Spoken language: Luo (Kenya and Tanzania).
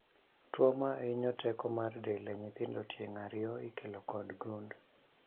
Tuo mahinyo teko mar del e nyithindo tieng' ariyo ikelo kod gund